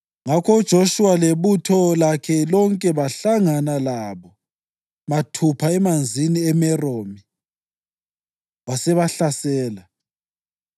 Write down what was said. Ngakho uJoshuwa lebutho lakhe lonke bahlangana labo mathupha eManzini eMeromi wasebahlasela,